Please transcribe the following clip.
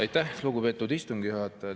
Aitäh, lugupeetud istungi juhataja!